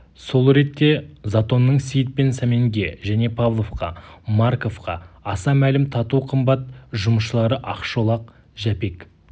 сол ретте затонның сейіт пен сәменге және павловқа марковқа аса мәлім тату қымбат жұмысшылары ақшолақ жәпек